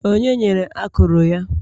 Onye nyere akụrụ ya?